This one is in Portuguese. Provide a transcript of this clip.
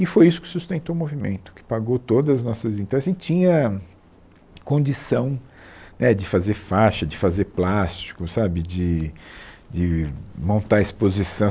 E foi isso que sustentou o movimento, que pagou todas as nossas...então assim tinha condição né de fazer faixa, de fazer plástico, sabe, de de montar exposição.